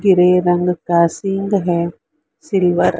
grey रंग का है सिल्वर --